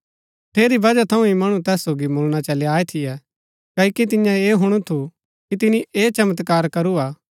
ठेरी बजह थऊँ ही मणु तैस सोगी मुळणा चली आये थियै क्ओकि तियें ऐह हुणु थू कि तिनी ऐह चमत्कार करू हा